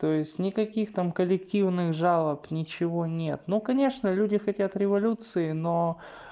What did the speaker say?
то есть никаких там коллективных жалоб ничего нет ну конечно люди хотят революции но